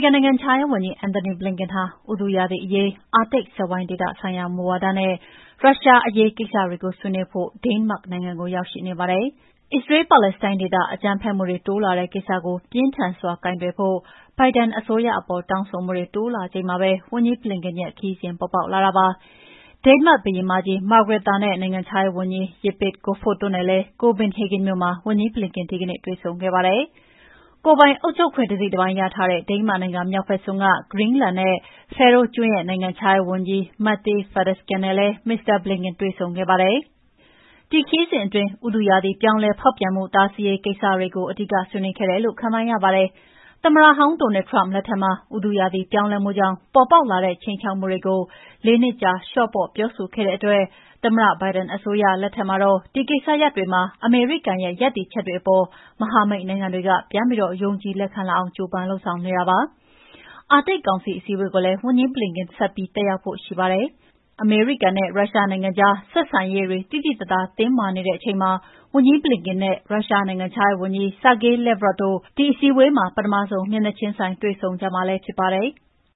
ကန်နိုင်ငံခြားရေးဝန်ကြီး Anthony Blinken ဟာ ဥတုရာသီအရေး၊ အာတိတ်စက်ဝိုင်းဒေသ ဆိုင်ရာမူဝါဒနဲ့ ရုရှား အရေးကိစ္စတွေကို ဆွေးနွေးဖို့ ဒိန်းမတ်နိုင်ငံကို ရောက်ရှိနေပါတယ်။ အစ္စရေးလ်-ပါလက်စတိုင်းဒေသ အကြမ်းဖက်မှုတွေ တိုးလာနေတဲ့ ကိစ္စကို ပြင်းထန်စွာ ကိုင်တွယ်ဖို့ ဘိုင်ဒန်အစိုးရကို တောင်းဆိုမှုတွေ တိုးလာချိန်မှာပဲ ဝန်ကြီး Blinken ရဲ့ ခရီးစဉ်ပေါ်ပေါက်လာတာဖြစ်ပါတယ်။ ဒိန်းမတ်ဘုရင်မကြီး Margrethe နဲ့ နိုင်ငံခြားရေးဝန်ကြီး Jeppe Kofod တို့နဲ့လည်း ကိုပင်ဟေဂင်မြို့မှာ ဝန်ကြီး Blinken ဒီကနေ့ တွေ့ဆုံခဲ့ပါတယ်။ ကိုယ်ပိုင်အုပ်ချုပ်ခွင့်တစိတ်တပိုင်းရထားတဲ့ ဒိန်မတ်နိုင်ငံမြောက်ဘက်စွန်းက Greenland နဲ့ Faeroe ကျွန်းရဲ့နိုင်ငံခြားရေးဝန်ကြီး Mette Frederiksen နဲ့လည်း မစ္စတာ Blinken တွေ့ဆုံခဲ့ပါတယ်။ ဒီခရီးစဉ်အတွင်း ဥတုရာသီပြောင်းလဲ ဖောက်ပြန်မှု တားဆီးရေးကိစ္စတွေကို အဓိကဆွေးနွေးခဲ့တယ်လု့ိ ခန့်မှန်းရပါတယ်။ သမ္မတဟောင်း Donald Trump လက်ထက်မှာ ဥတုရာသီပြောင်းလဲမှုကြောင့် ပေါ်ပေါက်လာတဲ့ ခြိမ်းခြောက်မှုတွေကို ၄ နှစ်ကြာ လျော့ပေါ့ပြောဆိုခဲ့တဲ့အတွက် သမ္မတဘိုင်ဒန်အစိုးရက ဒီကိစ္စရပ်တွေမှာ အမေရိကန်ရဲ့ ရပ်တည်ချက်တွေအပေါ် မဟာမိတ်နိုင်ငံတွေက ပြန်ပြီးယုံကြည်လက်ခံလာအောင် ကြိုးပမ်း လုပ်ဆောင်နေတာဖြစ်ပါတယ်။ အာတိတ်ကောင်စီအစည်းအဝေးကို ဝန်ကြီး Blinken ဆက်ပြီး တက်ရောက်ဖို့ ရှိပါတယ်။ အမေရိကန်နဲ့ ရုရှားနိုင်ငံကြား ဆက်ဆံရေးတွေ သိသိသာသာတင်းမာနေတဲ့ အချိန်မှာ ဝန်ကြီး Blinken နဲ့ ရုရှားနိုင်ငံခြားရေးဝန်ကြီး Sergey Lavrov တို့ ဒီအစည်းအဝေးမှာ ပထမဆုံး မျက်နှာချင်းဆိုင်တွေ့ဆုံကြမှာဖြစ်ပါတယ်။